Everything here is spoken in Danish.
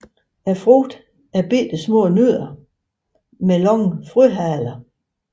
Frugterne er bittesmå nødder med lange frøhaler